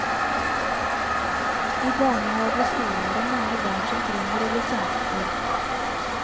I barnehage og skole er det mange barn som trenger å bli kjempet for.